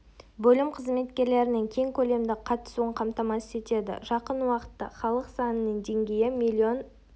бөлім қызметкерлерінің кең көлемді қатысуын қамтамасыз етеді жақын уақытта халық санының деңгейі млн